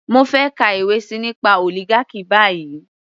Mo fẹ́ kà ìwé síi nípa oligarchy báyìí.